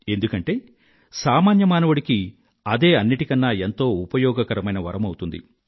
ఎందుకంటే సామాన్య మానవుడికి అదే అన్నింటికన్నా ఎంతో ఉపయోగకరమైన వరమౌతుంది